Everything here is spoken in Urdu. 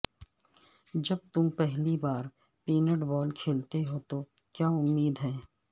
جب تم پہلی بار پینٹبال کھیلتے ہو تو کیا امید ہے